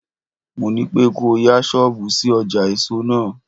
Mo ní pé kò o yá ṣọ́bùù sí ọjà èso náà.